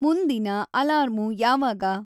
ಮುಂದಿನ ಅಲಾರ್ಮು ಯಾವಾಗ